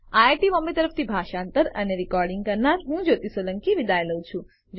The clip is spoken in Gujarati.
આઇઆઇટી બોમ્બે તરફથી હું જ્યોતી સોલંકી વિદાય લઉં છું